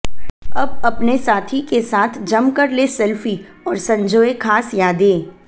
अब अपने साथी के साथ जम कर लें स्लेफी और संजोए खास यादें